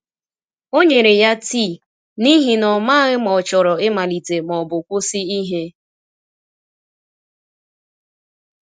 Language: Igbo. O nyere ya tii, n’ihi na ọ maghị ma ọ chọrọ ịmalite ma ọ bụ kwụsị ihe.